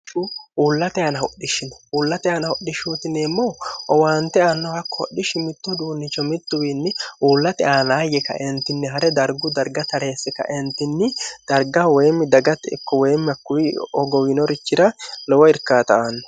hsh uullate aana hodhishshino uullate aana hodhishshootineemmou owaante anno hakko hodhishshi mittohuduunnicho mittuwiinni uullate aanaayye kaeentinni ha're dargu darga tareesse kaeentinni darga woyimmi dagatte ikko woyimmakkuwi ogowiinorichira lowo irkaata aanno